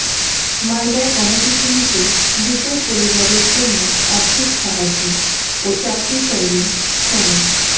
মালদায় গণপিটুনিতে মৃতের পরিবারের জন্য আর্থিক সাহায্য ও চাকরি চাইলেন সোমেন